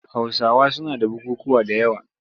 Hausawa suna da bukukkuwa da yawa.